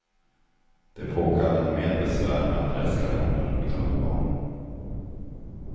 Det påkallade mer besvär med adresskalendrar och tunnelbanor.